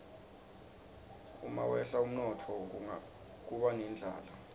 umawehla umnotfo kuba nendlala